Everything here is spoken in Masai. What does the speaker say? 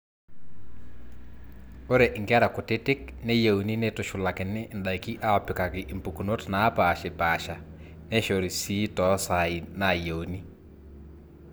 ore inkera kutitik neyieuni neitushulakini indaiki aapikaki impukunot naapaashipaasha neishori sii toosaai naayieuni